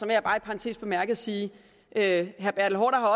jeg bare i parentes bemærket sige at herre